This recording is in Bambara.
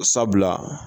Sabula